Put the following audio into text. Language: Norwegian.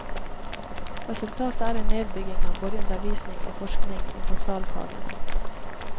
Resultatet er en nedbygging av både undervisning og forskning i basalfagene.